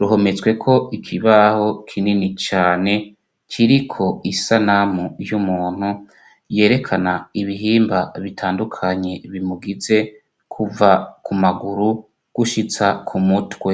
ruhometsweko ikibaho kinini cane kiriko isanamu y'umuntu yerekana ibihimba bitandukanye bimugize kuva ku maguru gushitsa kumutwe